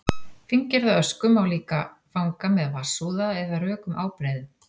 fíngerða ösku má líka fanga með vatnsúða eða rökum ábreiðum